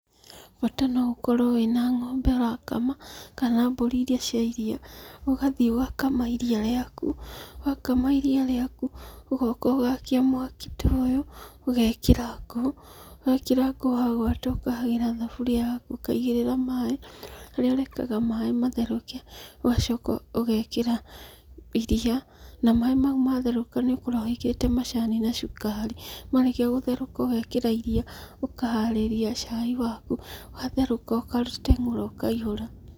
Bata noũkorũo wĩna ng'ombe ũrakama, kana mbũri iri cia iria, ũgathiĩ ũgakama iria rĩaku, wakama iria rĩaku, ũgoka ũgakia mwaki toyũ, ũgekĩra ngũ, wekĩra ngũ wagũata ũkahagĩra thaburia yaku ũkaigĩrĩra maĩ, rĩarekaga maĩ matherũke, ũgacoka ũgekĩra, iria, na maĩ mau matherũka nĩũkoragũo wĩkĩrĩte macani na cukari, marĩkia gũtherũka ũgekĩra iria, ũkaharĩria cai waku, watherũka ũkarĩteng'ũra ũkaihũra.